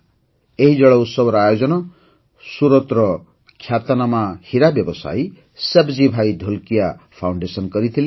ଏହି ଜଳ ଉତ୍ସବର ଆୟୋଜନ ସୁରତର ଖ୍ୟାତନାମା ହୀରାବ୍ୟବସାୟୀ ସାବଜୀ ଭାଇ ଢୋଲକିଆ ଫାଉଣ୍ଡେସନ କରିଥିଲା